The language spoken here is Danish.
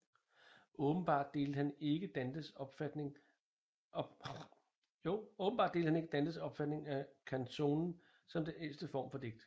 Åbenbart delte han ikke Dantes opfatning af canzonen som den ædleste form for digt